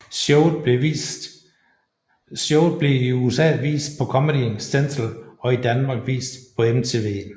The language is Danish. Showet blev i USA vist på Comedy Central og i Danmark vist på MTV